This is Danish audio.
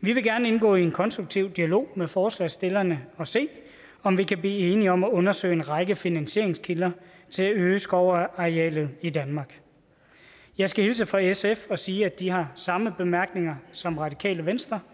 vi vil gerne indgå i en konstruktiv dialog med forslagsstillerne og se om vi kan blive enige om at undersøge en række finansieringskilder til at øge skovarealet i danmark jeg skal hilse fra sf og sige at de har samme bemærkninger som radikale venstre